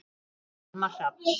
Elsku Almar Hrafn.